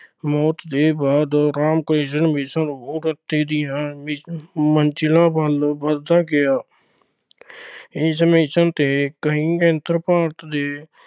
ਮੌਤ ਦੇ ਬਾਅਦ ਰਾਮ ਕ੍ਰਿਸ਼ਣ mission ਉੱਨਤੀ ਦੀਆਂ ਮੰਜ਼ਿਲਾਂ ਵੱਲ ਵੱਧਦਾ ਗਿਆ। ਇਸ mission ਤੇ ਕਈ ਕੇਂਦਰ ਭਾਰਤ ਦੇ